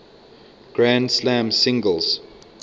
grand slam singles